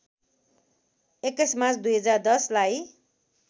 २१ March २०१० लाई